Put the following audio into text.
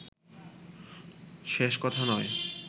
শেষ কথা নয়